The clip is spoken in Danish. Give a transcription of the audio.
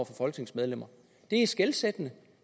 folketingsmedlemmer det er skelsættende